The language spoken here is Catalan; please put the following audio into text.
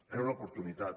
era una oportunitat